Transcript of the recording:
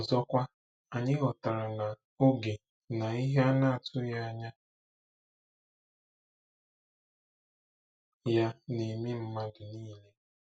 Ọzọkwa, anyị ghọtara na “oge na ihe a na-atụghị anya ya” na-eme mmadụ niile.